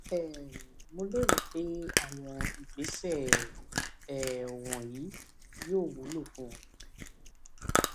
um mo lérò pé àwọn ìgbésẹ um wọnyí yóò wúlò fún ọ